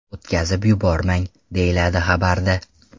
O‘tkazib yubormang”, deyiladi xabarda.